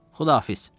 Xudahafiz.